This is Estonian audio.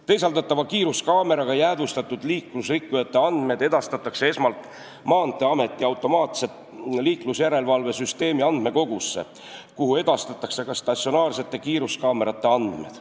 Teisaldatavate kiiruskaameratega jäädvustatud liiklusrikkujate andmed edastatakse esmalt Maanteeameti automaatse liiklusjärelevalve süsteemi andmekogusse, kuhu edastatakse ka statsionaarsete kiiruskaamerate andmed.